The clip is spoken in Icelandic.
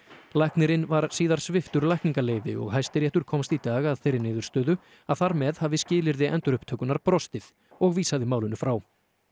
læknirinn var síðar sviptur lækningaleyfi og Hæstiréttur komst í dag að þeirri niðurstöðu að þar með hafi skilyrði endurupptökunnar brostið og vísaði málinu frá